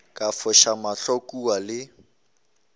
ka foša mahlo kua le